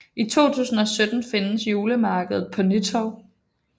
I 2017 findes julemarkedet på Nytorv